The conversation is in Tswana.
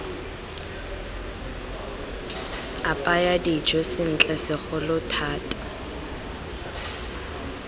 apaya dijo sentle segolo thata